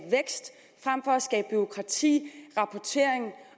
bureaukrati rapportering